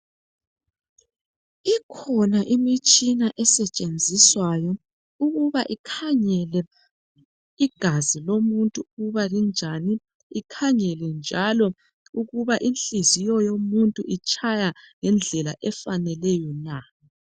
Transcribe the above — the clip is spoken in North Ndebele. Ikhona imitshina esetshenziswayo ukuba ikhangele igazi lomuntu ukuba linjani ikhangele njalo ukuba inhliziyo yomuntu itshaya ngendlela efaneleyo na.